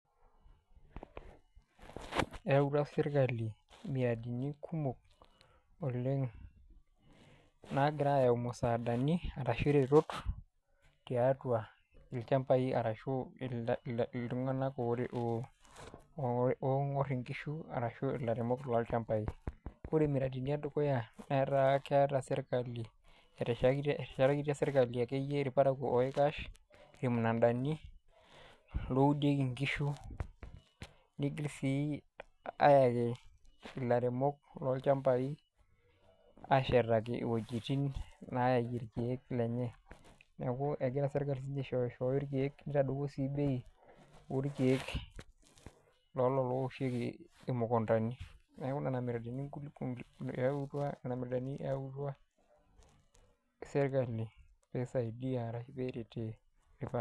Eyautua serkali muradini kumok oleng', naakira aayau musaadani arashu iretot, tiatua ilchambai arashu iltunganak ooingor inkishu arashu ilairemok lolchambai. Wore muradini edukuya netaa keeta serkali, eteshetakitia serkali akeyie ilparakuo oikash irmunadani looudieki inkishu, niigil sii aayaki ilairemok lolchambai aashetaki iwejitin naaie irkiek lenye. Neeku ekira serkali sinye aishooyoshooyo irkiek, nitadowuo sii bei orkiek loolo loowoshieki imukundani. Neeku niana miradini eyautua niana miradani eautua serkali pee isaidia ashu peeretie ilparakuo.